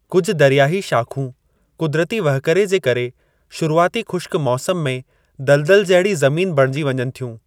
कुझु दरियाही शाख़ूं क़ुदरती वहिकरे जे करे शुरुआती खु़श्क मौसम में दलदल जहिड़ी ज़मीन बणिजी वञनि थियूं।